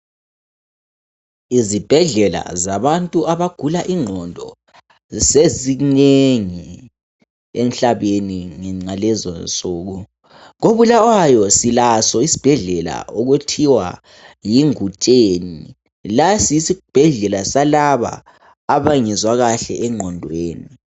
Izibhedlela zabantu abagula ingqondo sezinengi emhlabeni ngalezonsuku. KoBulawayo silaso isibhedlela okuthiwa yi Ngutsheni. Lesi yesibhedlela salabo abangezwa kuhle enqondweni.